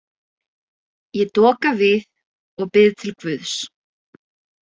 Ég doka við og bið til guðs.